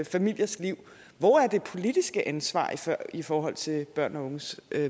familiers liv hvor er det politiske ansvar i forhold til børns og unges